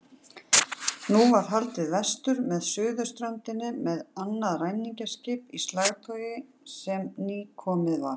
Nú var haldið vestur með suðurströndinni með annað ræningjaskip í slagtogi sem nýkomið var.